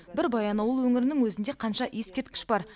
бір баянауыл өңірінің өзінде қанша ескерткіш бар